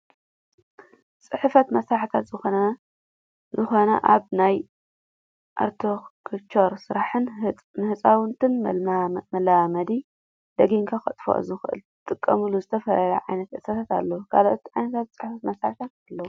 ፅሕፈት መሳሪሒታት፦ ዝኮኑ ኣብ ናይ ኣርቴኽቸር ስራሕትን ንህፃውትን መላማመዲ ደጊሞንከጥፍእዎ ዝክእሉ ዝጠቀሙላ ዝተፈላለዩ ዓይነታት እርሳሳት ኣለው። ካልኦት ዓይነታት ፅሕፈት መሳሪታት ኣለው ።